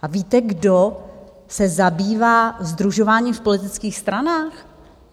A víte, kdo se zabývá sdružováním v politických stranách?